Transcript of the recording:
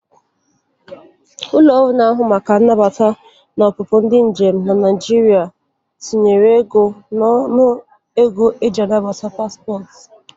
Ụlọ ọrụ na-ahụ maka mbata na ọpụpụ ndị njem n'ala Naịjịrịa tinyere ego n'ọnụ ego e ji agbata paspọt.